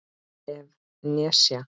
ef. nesja